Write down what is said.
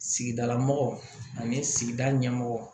Sigidala mɔgɔ ani sigida ɲɛmɔgɔ